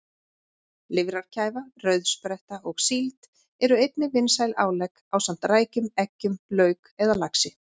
Lifrarkæfa, rauðspretta og síld eru einnig vinsæl álegg ásamt rækjum, eggjum, lauk eða laxi.